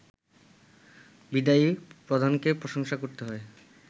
বিদায়ী প্রধানকেও প্রশংসা করতে